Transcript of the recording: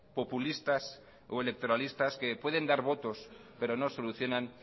populistas o electoralistas que pueden dar votos pero no solucionan